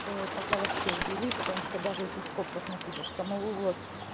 цены пока вообще убири потому что даже если в скобках напишешь самовывоз